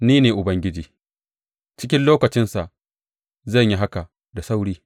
Ni ne Ubangiji, cikin lokacinsa zan yi haka da sauri.